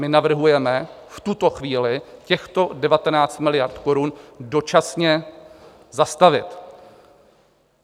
My navrhujeme v tuto chvíli těchto 19 miliard korun dočasně zastavit.